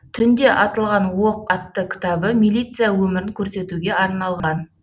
түнде атылған оқ атты кітабы милиция өмірін көрсетуге арналған